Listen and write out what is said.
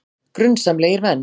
Grunsamlegir menn